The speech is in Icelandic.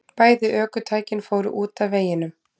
Bæði ökutækin fóru út af veginum